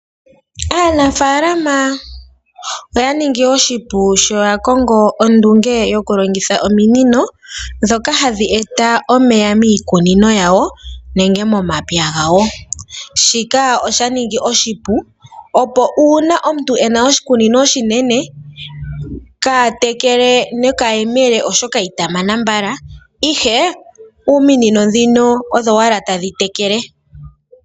Aanafaalama oye shi ningi oshipu sho ya kongo ondunge yokulongitha ominino, ndhoka hadhi e ta omeya miikunino, nenge momapya gawo. Shika ohashi ya ningile oshipu, molwaashoka ngele oya tekele nokayemele itaya mana mbala.